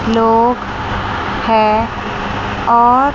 लोग है और--